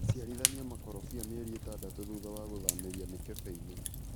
ciarithania makorobia mĩeri ĩtadatũ thutha wa gũthamĩria mĩkebeinĩ.